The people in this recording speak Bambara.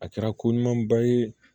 A kɛra ko ɲumanba ye